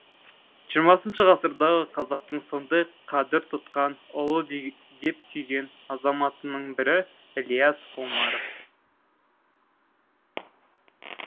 жырмасыншы ғасырдағы қазақтың сондай қадір тұтқан ұлы деп сүйген азаматының бірі ілияс омаров